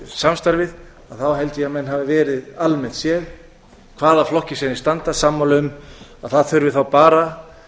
samstarfið held ég að menn hafi verið almennt séð í hvaða flokki sem þeir standa sammála um að það þurfi bara